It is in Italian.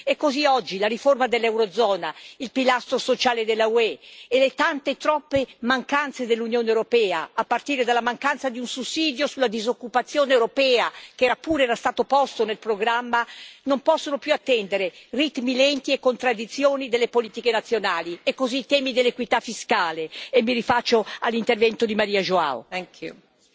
E così oggi la riforma dell'eurozona, il pilastro sociale dell'UE e le tante, troppe mancanze dell'Unione europea, a partire dalla mancanza di un sussidio sulla disoccupazione europea, che pure era stato posto nel programma, non possono più attendere ritmi lenti e contraddizioni delle politiche nazionali, e così i temi dell'equità fiscale, e mi rifaccio all'intervento di Maria João Rodrigues.